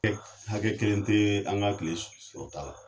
Ɛ hakɛ kelen tɛ an ka tile sɔrɔta la